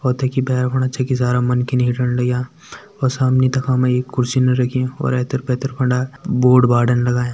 और तेकी भेर फण छै की सारा मनकी हीटन लाग्यां और सामने तखा में एक कुर्सी रखीं और एैथेर-पैथर फंडा बोर्ड -बार्ड़न लगायां।